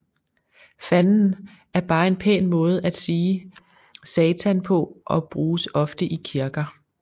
Fanden er bare en pæn måde at sige satan på og bruges oftest i kirker